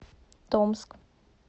томск